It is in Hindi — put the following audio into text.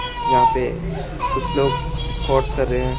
यहां पे कुछ लोग स्कॉट्स कर रहे है।